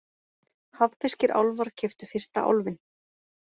Hafnfirskir álfar keyptu fyrsta Álfinn